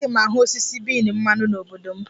A gaghị ahụ osisi bean mmanụ n' obodo m.